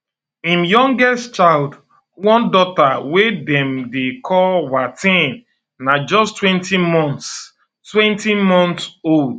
im youngest child one daughter wey dem dey call wateen na justtwentymonthstwentymonths old